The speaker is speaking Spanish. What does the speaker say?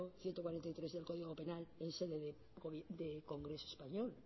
ciento cuarenta y tres del código penal en sede de congreso español